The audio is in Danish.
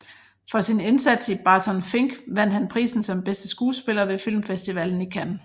For sin indsats i Barton Fink vandt han prisen som bedste skuespiller ved filmfestivalen i Cannes